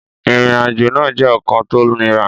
Ìrìnàjò náà jẹ́ ọ̀kan tó niran